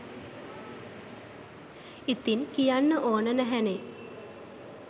ඉතින් කියන්න ඕන නැහැනෙ.